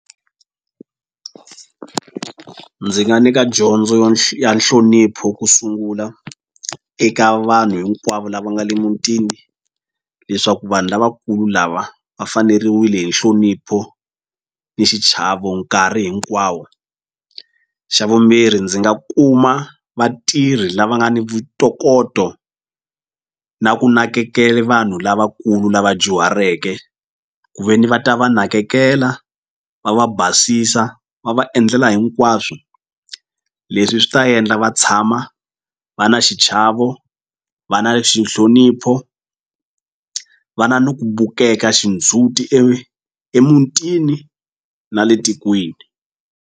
Ndzi nga nyika yo ya nhlonipho ku sungula eka vanhu hinkwavo lava nga le mutini leswaku vanhu lavakulu lava va faneriwile hi nhlonipho ni xichavo nkarhi hinkwawo xa vumbirhi ndzi nga kuma vatirhi lava nga ni ntokoto na ku nakekele vanhu lavakulu lava dyuhareke ku veni va ta va nakekela va va basisa va va endlela hinkwaswo leswi swi ta endla va tshama va na xichavo va na xi nhlonipho va na ni ku bukeka xindzhuti emutini na le tikweni.